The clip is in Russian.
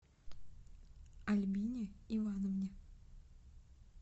альбине ивановне